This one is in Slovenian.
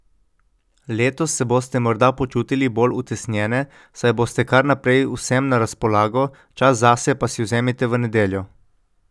Letos se boste morda počutili bolj utesnjene, saj boste kar naprej vsem na razpolago, čas zase pa si vzemite v nedeljo.